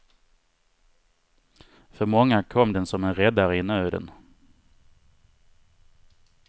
För många kom den som en räddare i nöden.